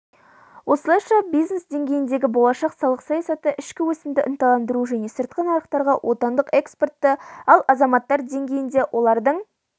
осылайша бизнес деңгейіндегі болашақ салық саясаты ішкі өсімді ынталандыруы және сыртқы нарықтарға отандық экспортты ал азаматтар деңгейінде олардың